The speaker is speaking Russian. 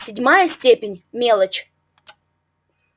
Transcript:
седьмая степень мелочь